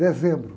Dezembro.